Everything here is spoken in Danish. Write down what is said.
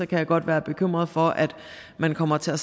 kan jeg godt være bekymret for at man kommer til at